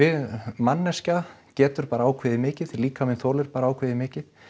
manneskja getur bara ákveðið mikið því líkaminn þolir bara ákveðið mikið